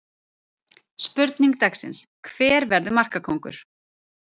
Spurning dagsins: Hver verður markakóngur?